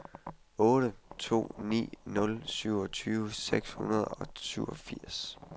otte to ni nul syvogtyve seks hundrede og syvogfirs